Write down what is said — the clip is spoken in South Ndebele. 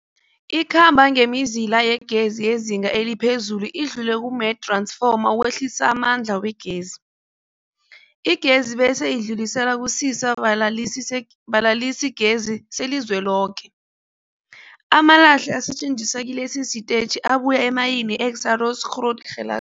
Ikhamba ngemizila yegezi yezinga eliphezulu idlule kumath-ransfoma ukwehlisa amandla wegezi. Igezi bese idluliselwa kusisa-balalisigezi selizweloke. Amalahle asetjenziswa kilesi sitetjhi abuya emayini yeExxaro's Grootgeluk.